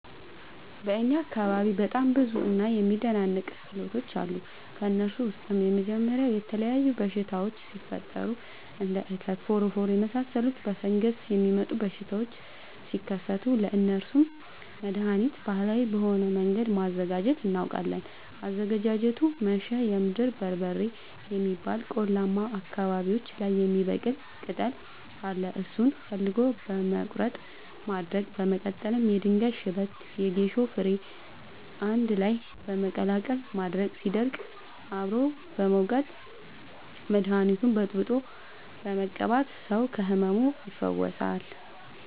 በእኛ አካባቢ በጣም ብዙ እና የሚደናንቅ ክህሎቶች አሉ። ከእነሱም ውስጥ የመጀመሪያው የተለያዩ በሽታወች ሲፈጠሪ እንደ እከክ ፎረፎር የመሳሰሉ በፈንገስ የሚመጡ በሽታዎች ሲከሰቱ ለእነሱ መደሀኒት ባህላዊ በሆነ መንገድ ማዘጋጀት እናውቃለን። አዘገጃጀቱመሸ የምድር በርበሬ የሚባል ቆላማ አካባቢዎች ላይ የሚበቅል ቅጠል አለ እሱን ፈልጎ በመቀለረጥ ማድረቅ በመቀጠልም የድንጋይ ሽበት የጌሾ ፈሸሬ አንድላይ በመቀላቀል ማድረቅ ሲደርቅ አብሮ በመውቀጥ መደኒቱን በጥብጦ በመቀባት ሰው ከህመሙ ይፈወሳል።